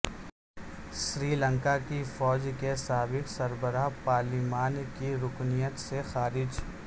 سری لنکا کی فوج کے سابق سربراہ پارلیمان کی رکنیت سےخارج